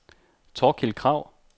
Thorkild Krag